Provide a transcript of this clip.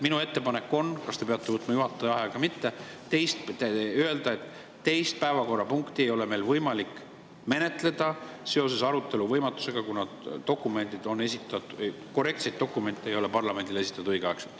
Minu ettepanek teile on – kas te peate selleks võtma juhataja vaheaja või mitte – öelda, et teist päevakorrapunkti ei ole meil võimalik menetleda seoses arutelu võimatusega, kuna parlamendile ei ole õigeaegselt esitatud korrektseid dokumente.